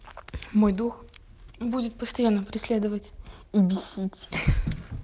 мой дух будет постоянно преследовать и бесить